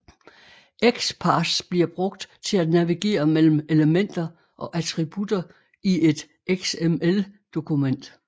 XPath bliver brugt til at navigere mellem elementer og attributter i et XML dokument